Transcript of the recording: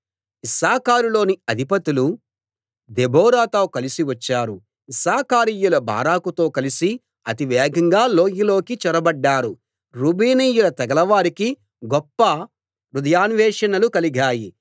ఇశ్శాఖారులోని అధిపతులు దెబోరాతో కలిసి వచ్చారు ఇశ్శాఖారీయులు బారాకుతో కలిసి అతివేగంగా లోయలోకి చొరబడ్డారు రూబేనీయుల తెగలవారికి గొప్ప హృదయాన్వేషణలు కలిగాయి